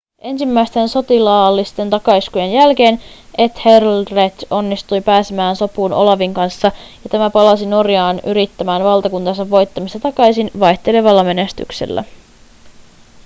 ensimmäisten sotilaallisten takaiskujen jälkeen ethelred onnistui pääsemään sopuun olavin kanssa ja tämä palasi norjaan yrittämään valtakuntansa voittamista takaisin vaihtelevalla menestyksellä